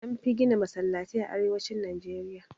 Anfi gina Masallatai a arewacin Najeriya